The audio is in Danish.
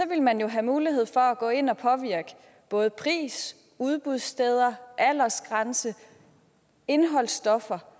vil man have mulighed for at gå ind og påvirke både pris udbudssteder aldersgrænse og indholdsstoffer